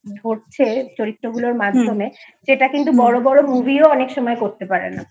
ধরছে চরিত্রগুলোর মাঝখানে সেগুলো কিন্তু বড়ো বড়ো Movieঅনেক সময় করতে পারে না।